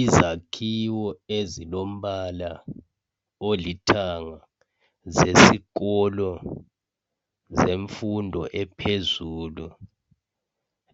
Izakhiwo ezilombala olithanga zesikolo semfundo ephezulu,